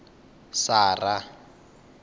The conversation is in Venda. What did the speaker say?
sara